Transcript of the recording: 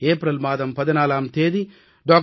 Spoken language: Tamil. ஏப்ரல் மாதம் 14ஆம் தேதி டா